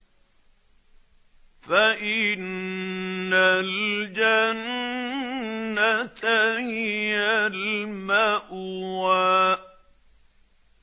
فَإِنَّ الْجَنَّةَ هِيَ الْمَأْوَىٰ